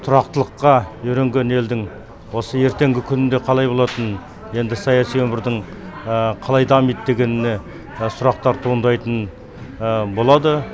тұрақтылыққа үйренген елдің осы ертеңгі күнінде қалай болатыны енді саяси өмірдің қалай дамиды дегеніне сұрақтар туындайтын болады